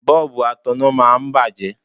Bọ́ọ̀bù ataná máa ń bàjẹ́.